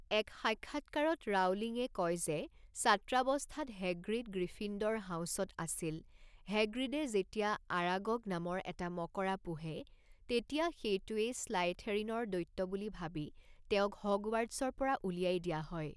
এক সাক্ষাত্কাৰত ৰাউলিঙে কয় যে ছাত্ৰাৱস্থাত হেগ্ৰিড গ্ৰীফিন্দৰ হাউছত আছিল হেগ্ৰিডে যেতিয়া আৰাগগ নামৰ এটা মকৰা পোহে তেতিয়া সেইটোৱেই স্লাইথেৰিণৰ দৈত্য বুলি ভাবি তেওঁক হগৱাৰ্ট্ছৰ পৰা উলিয়াই দিয়া হয়।